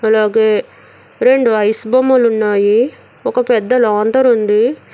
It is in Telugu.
అలాగే రెండు ఐస్ బొమ్మలు ఉన్నాయి ఒక పెద్ద లాంతరు ఉంది.